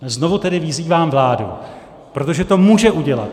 Znovu tedy vyzývám vládu, protože to může udělat.